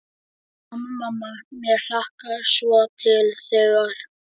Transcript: Mamma, mamma mér hlakkar svo til þegar.